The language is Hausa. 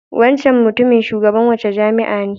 Wancan mutumin Shugaban wace jami'a ne?